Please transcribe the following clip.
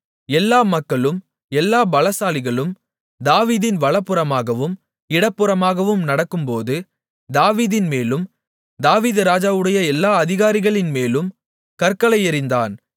எல்லா மக்களும் எல்லா பலசாலிகளும் தாவீதின் வலதுபுறமாகவும் இடதுபுறமாகவும் நடக்கும்போது தாவீதின்மேலும் தாவீது ராஜாவுடைய எல்லா அதிகாரிகளின் மேலும் கற்களை எறிந்தான்